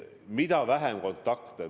Vähem kontakte!